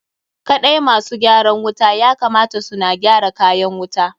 Kaɗai ma su gyaran wuta ya kamata su na gyara kayan wuta.